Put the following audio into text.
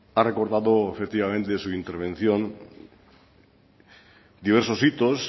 ha recordado efectivamente en su intervención diversos hitos